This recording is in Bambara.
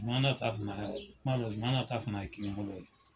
Zumana ta fana, n b'a dɔn Zumana ta fana ye kini bolo ye.